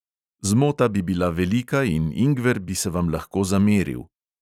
Zmota bi bila velika in ingver bi se vam lahko zameril.